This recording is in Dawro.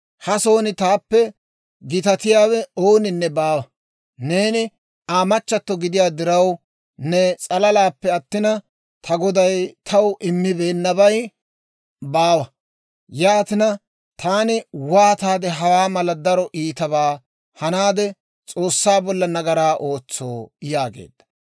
Ha son taappe gitatiyaawe ooninne baawa. Neeni Aa machchatto gidiyaa diraw ne s'alalaappe attina, ta goday taw immibeennabay baawa. Yaatina taani waataade hawaa mala daro iitabaa hanaade S'oossaa bolla nagaraa ootsoo?» yaageedda.